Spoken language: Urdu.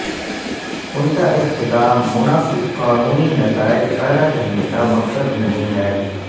ان کا اختتام مناسب قانونی نتائج پیدا کرنے کا مقصد نہیں ہے